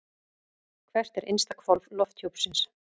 Hvert er innsta hvolf lofthjúpsins?